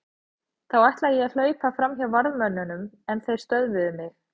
Þá ætlaði ég að hlaupa fram hjá varðmönnunum en þeir stöðvuðu mig.